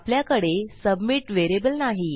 आपल्याकडे submit variable नाही